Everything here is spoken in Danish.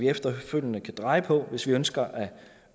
efterfølgende kan dreje på hvis man ønsker at